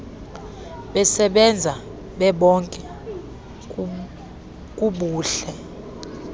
besebenza bebonke kubuhle